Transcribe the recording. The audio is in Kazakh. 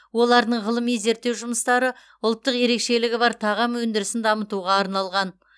олардың ғылыми зерттеу жұмыстары ұлттық ерекшелігі бар тағам өндірісін дамытуға арналған